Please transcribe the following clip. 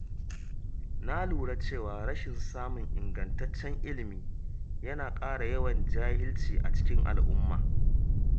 Na lura cewa rashin samun ingantaccen ilimi yana ƙara yawan jahilci a cikin al’umma.